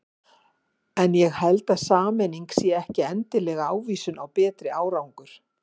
En ég held að sameining sé ekki endilega ávísun á betri árangur.